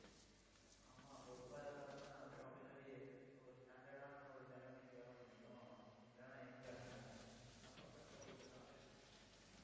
ஆமா, பொறுப்பா இருந்தாதானே அப்புறம் பின்னாடி ஒரு standard ஆன ஒரு நிலைமைக்கு வர முடியும். இல்லைன்னா எங்க ஆஹ் அப்புறம் கஷ்டப்பட்டுட்டுதான் அலையணும்